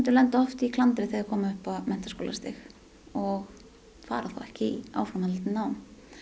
lenda oft í klandri þegar þeir koma upp á menntaskólastig og fara þá ekki í áframhaldandi nám